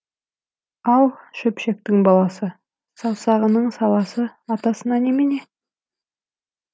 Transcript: ал шөпшектің баласы саусағының саласы атасына немене